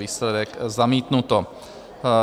Výsledek: zamítnuto.